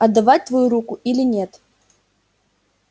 отдавать твою руку или нет